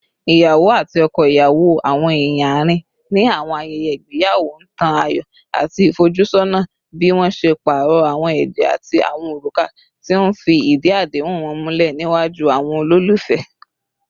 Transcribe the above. Iyawo ati ọkọ iyawo, awọn eeyan aarin ni awọn ayẹyẹ igbeyawo, n tan ayọ ati ifojusona bi wọn ṣe paarọ awọn ẹjẹ ati awọn oruka, ti n fi idi adehun wọn mulẹ niwaju awọn ololufẹ